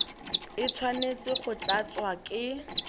e tshwanetse go tlatswa ke